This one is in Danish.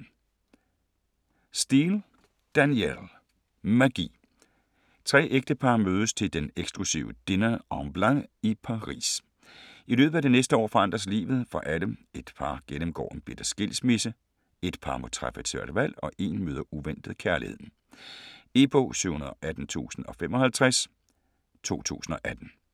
Steel, Danielle: Magi Tre ægtepar mødes til den eksklusive Dîner en Blanc i Paris. I løbet af det næste år forandres livet for alle. Ét par gennemgår en bitter skilsmisse, ét par må træffe et svært valg og én møder uventet kærligheden. E-bog 718055 2018.